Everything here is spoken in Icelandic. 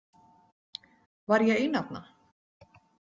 Var ég ein þarna?